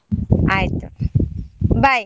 ಆಯ್ತು bye .